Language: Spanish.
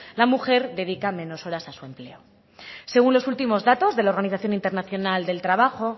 la mujer dedica menos horas a su empleo según los últimos datos de la organización internacional del trabajo